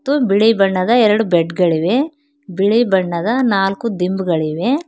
ಮತ್ತು ಬಿಳಿ ಬಣ್ಣದ ಎರಡು ಬೆಡ್ಗಳಿವೆ ಬಿಳಿ ಬಣ್ಣದ ನಾಲ್ಕು ದಿಂಬುಗಳಿವೆ.